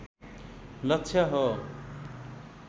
लक्ष्य हो